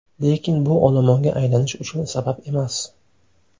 Lekin bu olomonga aylanish uchun sabab emas.